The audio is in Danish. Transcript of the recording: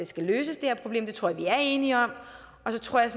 skal løses det tror jeg vi er enige om og så tror jeg